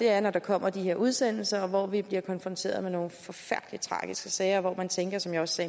er når der kommer de her udsendelser hvor vi bliver konfronteret med nogle forfærdelig tragiske sager og hvor man tænker som jeg også